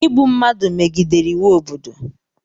Ịgbụ mmadụ megidere iwu obodo